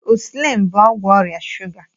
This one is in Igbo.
Ịnsụlịn bụ ọgwụ ọrịa shuga.